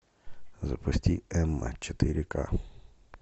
запусти эмма четыре ка